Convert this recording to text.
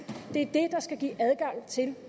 det er det der skal give adgang til